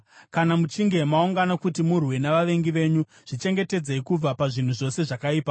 Kana muchinge maungana kuti murwe navavengi venyu, zvichengetedzei kubva pazvinhu zvose zvakaipa.